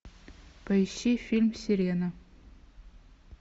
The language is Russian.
поищи фильм сирена